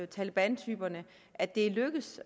taleban typerne at det er lykkedes